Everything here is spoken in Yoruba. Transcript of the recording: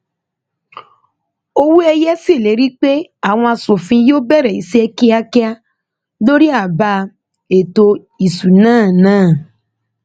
owóẹyẹ ṣèlérí pé àwọn aṣòfin yóò bẹrẹ iṣẹ kíákíá lórí àbá ètò ìṣúná náà